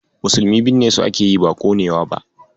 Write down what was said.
Musulmi binnesu ake yi, ba ƙonewa ba.